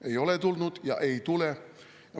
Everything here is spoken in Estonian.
Ei ole tulnud ja ei tule.